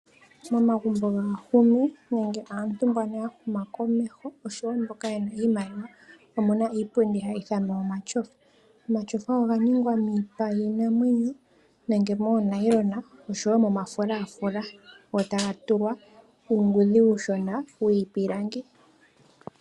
Momagumbo gaantu mboka yahuma komeho oshowo mboka yena iimaliwa omuna iipundi yOmatyofa. Omatyofa oganingwa miipa yiinamwenyo, nenge moo nayilona oshowo momafulafula go tagatulwa uungudhi uushona wiipilangi.